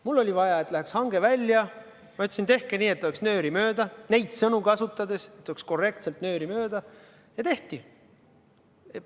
Mul oli vaja, et läheks hange välja, ma ütlesin, tehke nii, et oleks nööri mööda, et neid sõnu kasutades oleks tehtud korrektselt nööri mööda, ja tehti.